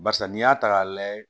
Barisa n'i y'a ta k'a lajɛ